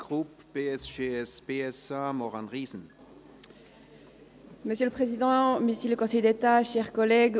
Für die SP-JUSO-PSA-Fraktion hat Grossrätin Riesen das Wort.